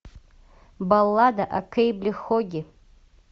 баллада о кэйбле хоге